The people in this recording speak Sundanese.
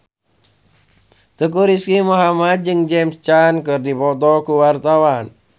Teuku Rizky Muhammad jeung James Caan keur dipoto ku wartawan